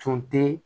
Tun tɛ